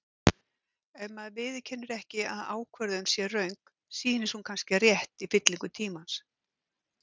Ef maður viðurkennir ekki að ákvörðun sé röng, sýnist hún kannski rétt í fyllingu tímans.